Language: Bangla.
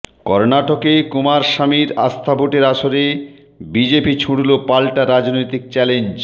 কর্ণাটকে কুমারস্বামীর আস্থা ভোটের আসরে বিজেপি ছুঁড়ল পাল্টা রাজনৈতিক চ্যালেঞ্জ